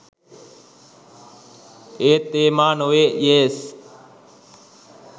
ඒත් ඒ මා නොවේ යේස්